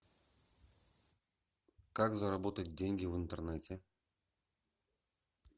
как заработать деньги в интернете